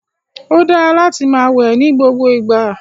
O dara láti máa wẹ nigbogbo igba